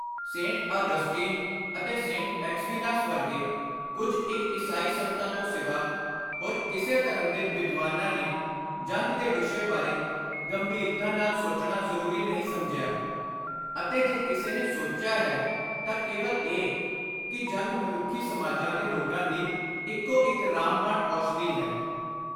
Saint Augustine ਅਤੇ Saint Aquinas ਵਰਗੇ ਕੁਝ ਇਕ ਈਸਾਈ ਸੰਤਾਂ ਤੋਂ ਸਿਵਾ ਹੋਰ ਕਿਸੇ ਧਰਮ ਦੇ ਵਿਦਵਾਨਾਂ ਨੇ ਜੰਗ ਦੇ ਵਿਸ਼ੇ ਬਾਰੇ ਗੰਭੀਰਤਾ ਨਾਲ ਸੋਚਣਾ ਜ਼ਰੂਰੀ ਨਹੀਂ ਸਮਝਿਆ ਅਤੇ ਜੇ ਕਿਸੇ ਨੇ ਸੋਚਿਆ ਹੈ ਤਾਂ ਕੇਵਲ ਇਹ ਕਿ “ਜੰਗ ਮਨੁੱਖੀ ਸਮਾਜਾਂ ਦੇ ਰੋਗਾਂ ਦੀ ਇਕੋ ਇਕ ਰਾਮ-ਬਾਣ ਔਸ਼ਧੀ ਹੈ।”